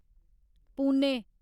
Pune